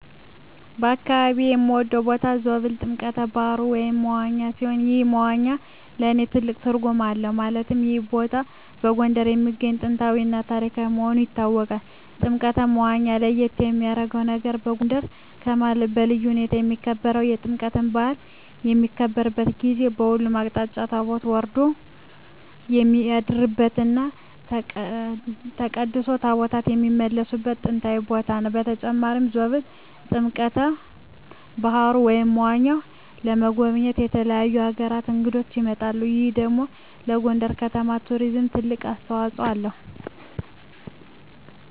በአካባቢየ የምወደው ቦታ ዞብል ጥምቀተ ባህሩ (መዋኛ) ሲሆን ይህ መዋኛ ለእኔ ትልቅ ትርጉም አለው ማለትም ይህ ቦታ በጎንደር የሚገኝ ጥንታዊ እና ታሪካዊ መሆኑ ይታወቃል። ጥምቀተ መዋኛው ለየት የሚያረገው ነገር በጎንደር ከተማ በልዩ ሁኔታ የሚከበረው የጥምቀት በአል በሚከበርበት ጊዜ በሁሉም አቅጣጫ ታቦት ወርዶ የሚያድርበት እና ተቀድሶ ታቦታት የሚመለስበት ጥንታዊ ቦታ ነው። በተጨማሪም ዞብል ጥምቀተ በሀሩ (መዋኛው) ለመጎብኘት ከተለያዩ አገራት እንግዶች ይመጣሉ ይህ ደግሞ ለጎንደር ከተማ ለቱሪዝም ትልቅ አስተዋጽኦ አለው።